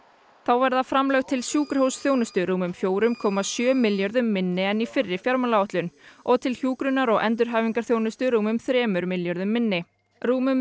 þá verða framlög til sjúkrahúsþjónustu rúmum fjögur komma sjö milljörðum minni en í fyrri fjármálaáætlun og til hjúkrunar og endurhæfingarþjónustu rúmum þremur milljörðum minni rúmum